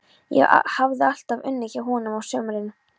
Ég hafði alltaf unnið hjá honum á sumrin.